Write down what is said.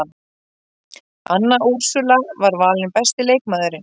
Anna Úrsúla valin besti leikmaðurinn